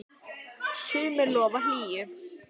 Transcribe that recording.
sumri lofar hlýju.